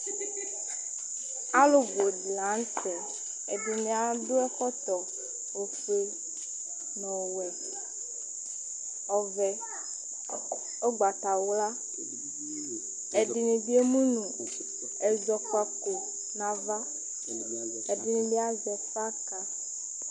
alo bò di lantɛ ɛdini adu ɛkɔtɔ ofue n'ɔwɛ ɔvɛ ugbata wla ɛdini bi emu no ɛzɔkpako n'ava k'ɛdini bi azɛ flaka